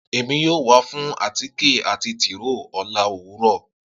Emi yoo wa fun átíké ati tiróó ọla owurọ.